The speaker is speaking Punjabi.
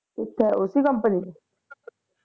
ਕਿਥੇ ਉਸੇ company ਵਿਚ